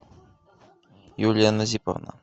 юлия назиповна